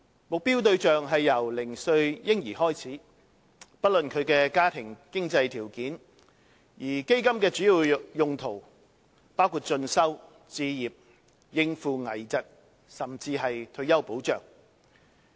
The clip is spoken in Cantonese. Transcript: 目標對象是由嬰兒零歲開始，不論其家庭經濟條件，而基金的主要用途包括進修、置業及應付危疾，甚至是退休保障。